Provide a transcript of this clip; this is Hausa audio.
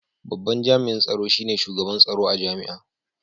Babban Jami’in Tsaro shi ne Shugaban Tsaro a Jami’a.